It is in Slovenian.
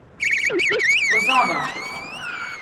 Pozaba!